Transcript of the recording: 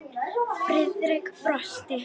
Friðrik brosti.